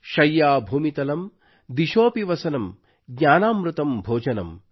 ಶಯ್ಯಾ ಭೂಮಿತಲಂ ದಿಶೋSಪಿ ವಸನಂ ಜ್ಞಾನಾಮೃತಮ್ ಭೋಜನಂ